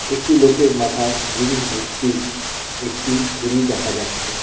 একটি লোকের মাথায় জিনিস ভর্তি একটি ঝুড়ি দেখা যাচ্ছে.